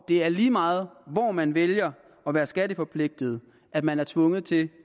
det er lige meget hvor man vælger at være skattepligtig og at man er tvunget til